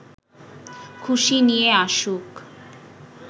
খুশি নিয়ে আসুক